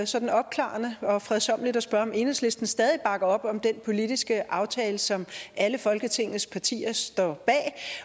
sådan opklarende og fredsommeligt at spørge om enhedslisten stadig bakker op om den politiske aftale som alle folketingets partier står bag